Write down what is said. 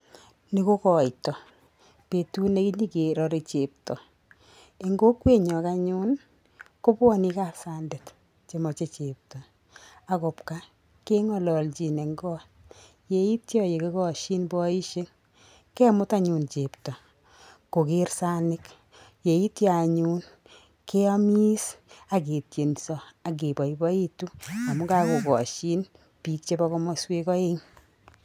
Ni ko koitoo, betut neinyokerore chepto. Eng' kokwenyon anyun, kobwone gaa sandet chemoche chepto. Ago kobwaa keng'ololjin en koot. Yeityo ye kikoshin boisiek, kemut anyun chepto koger sanik. Yeityo anyun, keomis aketienso ak keboiboitu amun kakokoshin biik chebo komoswek oeng'.